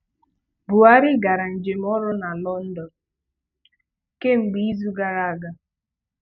Buhari gara njem ọrụ na London kemgbe izu gara aga.